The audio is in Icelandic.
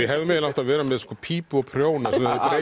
hefðum eiginlega átt að vera með pípu og prjóna